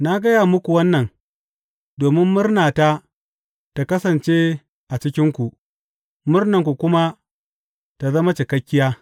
Na gaya muku wannan domin murnata ta kasance a cikinku, murnanku kuma ta zama cikakkiya.